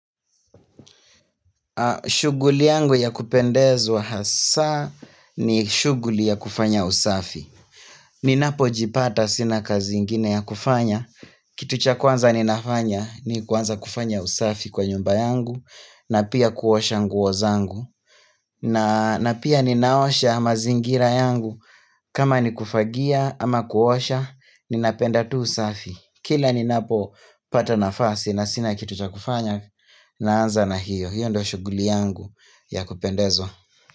Shughuli yangu ya kupendezwa hasa ni shughuli ya kufanya usafi Ninapojipata sina kazi ingine ya kufanya Kitu cha kwanza ninafanya ni kuanza kufanya usafi kwa nyumba yangu na pia kuosha nguo zangu na pia ninaosha mazingira yangu kama ni kufagia ama kuosha Ninapenda tu usafi Kila ninapopata nafasi na sina kitu cha kufanya Naanza na hiyo hiyo ndo shughuli yangu ya kupendezwa.